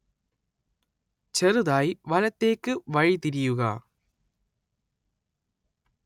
ചെറുതായി വലതേക്ക് വഴിതിരിയുക